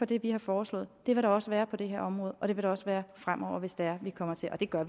det vi har foreslået det vil der også være på det her område og det vil der også være fremover hvis det er vi kommer til og det gør